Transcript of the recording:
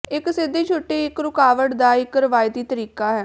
ਇੱਕ ਸਿੱਧੀ ਛੁੱਟੀ ਇੱਕ ਰੁਕਾਵਟ ਦਾ ਇੱਕ ਰਵਾਇਤੀ ਤਰੀਕਾ ਹੈ